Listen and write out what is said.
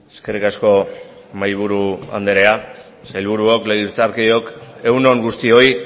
eskerrik asko mahaiburu andrea sailburuok legebiltzarkideok egun on guztioi